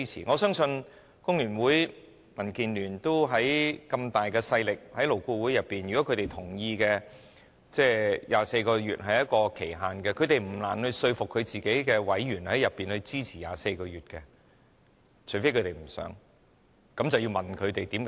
我相信，工聯會及民主建港協進聯盟在勞顧會有很大勢力，如果他們同意以24個月為期限，他們不難說服自己的委員在勞顧會內支持24個月的建議，除非他們不想，那便要問他們的原因。